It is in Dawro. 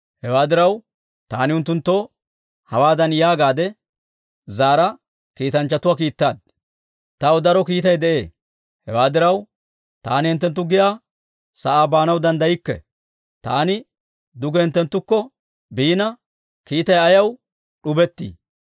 Hewaa diraw, taani unttunttoo hawaadan yaagaadde zaara kiitanchchatuwaa kiittaad; «Taw daro kiitay de'ee; hewaa diraw, taani hinttenttu giyaa sa'aa baanaw danddaykke. Taani duge hinttenttukko biina, kiittay ayaw d'ubettii?»